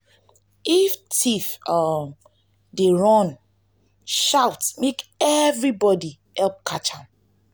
if thief um dey um run shout make everybodi hear help catch am.